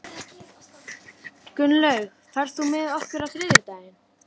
Og Ólafur Tómasson á ættir að rekja til Grettis.